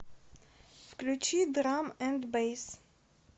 включи драм энд бэйс